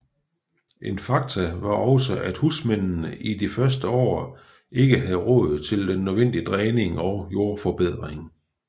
En faktor var også at husmændene i de første år ikke havde råd til den nødvendige dræning og jordforbedring